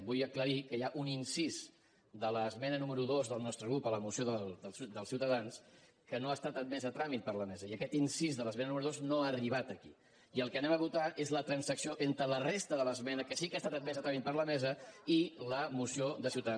vull aclarir que hi ha un incís de l’esmena número dos del nostre grup a la moció de ciutadans que no ha estat admès a tràmit per la mesa i aquest incís de l’esmena número dos no ha arribat aquí i el que anem a votar és la transacció entre la resta de l’esmena que sí que ha estat admesa a tràmit per la mesa i la moció de ciutadans